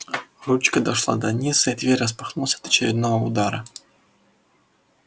ручка дошла до низа и дверь распахнулась от очередного удара